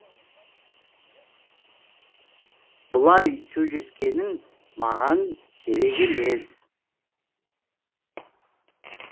бұлай сөйлескенің маған керек емес